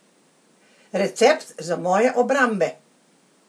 Recept za moje obrambe?